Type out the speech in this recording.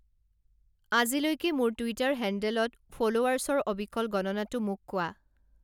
আজিলৈকে মোৰ টুইটাৰ হেণ্ডেলত ফল'ৱাৰ্ছৰ অবিকল গণনাটো মোক কোৱা